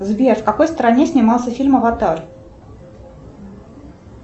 сбер в какой стране снимался фильм аватар